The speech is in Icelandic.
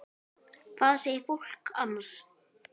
Hvað segir fólk annars?